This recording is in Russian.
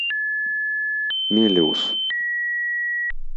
мелеуз